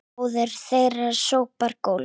Móðir þeirra sópar gólf